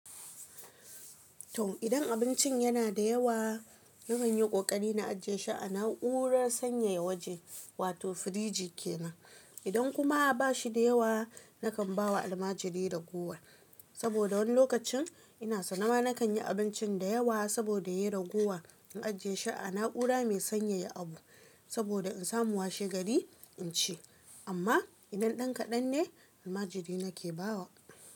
To, idan abincin yana da yawa, na kan yi ƙoƙari na ajiye shi a na'urar sanyaya waje wato firiji ke nan. Idan kuma ba shi da yawa, na kan ba wa almajiri ragowa. Saboda wani lokacin ina sane ma na kan yi abincin da yawa saboda ya ragowa, in ajiye shi a na'ura mai sanyaya abu saboda in samu washe gari in ci. Amma idan ɗan kaɗan ne, almajiri nake ba wa.